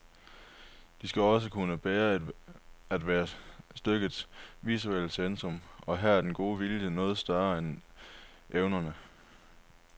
De skal også kunne bære at være stykkets visuelle centrum, og her er den gode vilje noget større end evnerne.